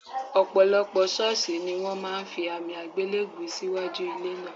Ò̩pò̩lo̩pò̩ s̩ó̩ò̩s̩ì ní wó̩n máa fi àmì àgbélèbú síwájú ilé náà